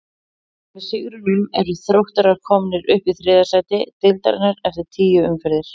Með sigrinum eru Þróttarar komnir upp í þriðja sæti deildarinnar eftir tíu umferðir.